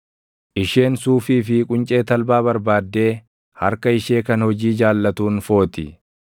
Isheen suufii fi quncee talbaa barbaaddee harka ishee kan hojii jaallatuun footi.